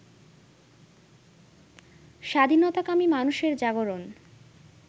স্বাধীনতাকামী মানুষের জাগরণ